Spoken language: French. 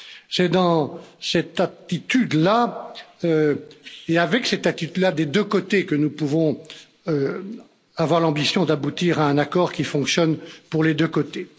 C'est dans cette attitude là et avec cette attitude là des deux côtés que nous pouvons avoir l'ambition d'aboutir à un accord qui fonctionne pour les deux côtés.